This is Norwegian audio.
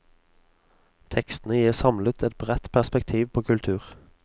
Tekstene gir samlet et bredt perspektiv på kultur.